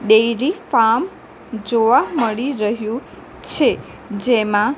dairy farm જોવા મળી રહ્યુ છે જેમાં--